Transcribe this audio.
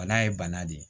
Bana ye bana de ye